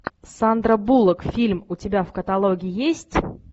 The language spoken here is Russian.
сандра буллок фильм у тебя в каталоге есть